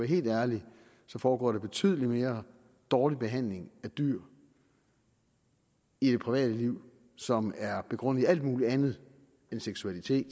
helt ærlig foregår der betydelig mere dårlig behandling af dyr i det private liv som er begrundet i alt muligt andet end seksualitet